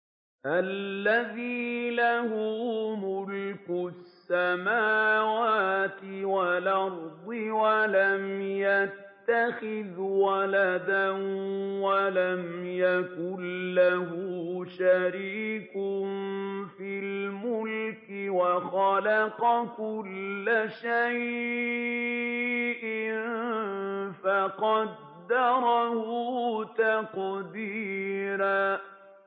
الَّذِي لَهُ مُلْكُ السَّمَاوَاتِ وَالْأَرْضِ وَلَمْ يَتَّخِذْ وَلَدًا وَلَمْ يَكُن لَّهُ شَرِيكٌ فِي الْمُلْكِ وَخَلَقَ كُلَّ شَيْءٍ فَقَدَّرَهُ تَقْدِيرًا